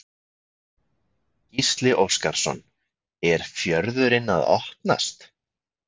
Gísli Óskarsson: Er fjörðurinn að opnast?